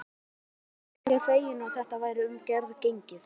Stína virtist fegin að þetta væri um garð gengið.